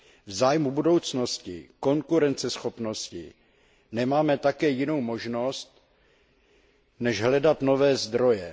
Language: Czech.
V zájmu budoucnosti a konkurenceschopnosti nemáme také jinou možnost, než hledat nové zdroje.